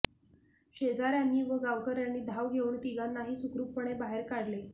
शेजार्यानी व गावकर्यांनी धाव घेऊन तिघांनाही सुखरूपपणे बाहेर काढले